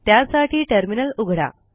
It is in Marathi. त्यासाठी टर्मिनल उघडा